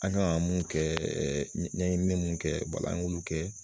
An kan ka mun kɛ ɲɛɲinini minnu kɛ wala an k'olu kɛ